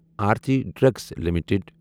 Aarti drugs limited